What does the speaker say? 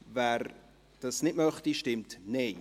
wer ihn nicht zur Kenntnis nehmen möchte, stimmt Nein.